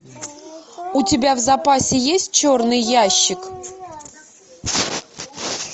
у тебя в запасе есть черный ящик